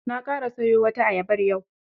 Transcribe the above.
Na ƙara sayo wata ayabar yau.